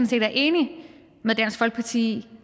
set er enig med dansk folkeparti i